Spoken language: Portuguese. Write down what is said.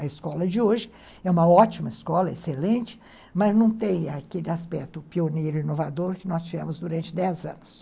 A escola de hoje é uma ótima escola, excelente, mas não tem aquele aspecto pioneiro e inovador que nós tivemos durante dez anos.